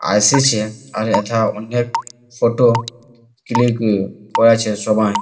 আসিছে আর এথা অনেক ফটো ক্লিকই করেছে সবাই।